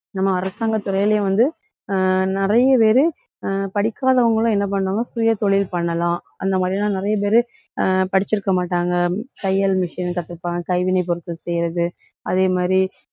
நம்ம அரசாங்கத் துறையிலேயும் வந்து அஹ் நிறைய பேரு அஹ் படிக்காதவங்களும் என்ன பண்ணுவாங்க, சுயதொழில் பண்ணலாம். அந்த மாதிரி எல்லாம் நிறைய பேரு அஹ் படிச்சிருக்க மாட்டாங்க. தையல் machine கத்துப்பாங்க, கைவினை பொருட்கள் செய்யறது. அதே மாதிரி,